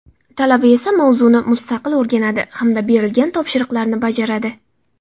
Talaba esa mavzuni mustaqil o‘rganadi hamda berilgan topshiriqlarni bajaradi.